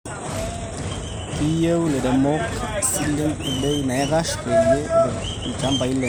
Keyieu ilairemok isilen ebei naikash peyie epik ilchambai lenye.